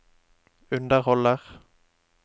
underholder